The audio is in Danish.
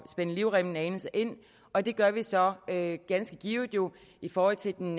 spænde livremmen ind og det gør vi så ganske givet jo i forhold til den